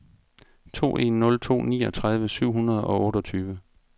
to en nul to niogtredive syv hundrede og otteogtyve